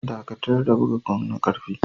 Dakatar da buga gong na karfe.